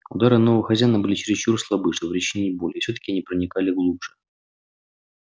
удары нового хозяина были чересчур слабы чтобы причинить боль и всё таки они проникали глубже